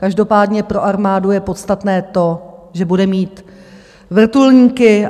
Každopádně pro armádu je podstatné to, že bude mít vrtulníky.